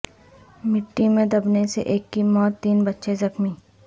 مٹی میں دبنے سے ایک کی موت تین بچے زخمی